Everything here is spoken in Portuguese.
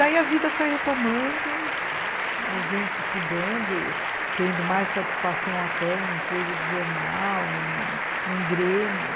Daí a vida foi retomando, a gente estudando, tendo mais participação até em coisa de jornal, em em grêmio.